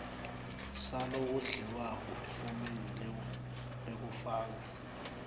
salowondliwako efomini lekufaka